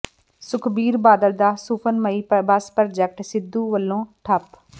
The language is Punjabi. ਸੁਖਬੀਰ ਬਾਦਲ ਦਾ ਸੁਫ਼ਨਮਈ ਬੱਸ ਪ੍ਰਾਜੈਕਟ ਸਿੱਧੂ ਵੱਲੋਂ ਠੱਪ